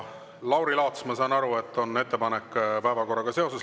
Lauri Laats, ma saan aru, et on ettepanek päevakorra kohta.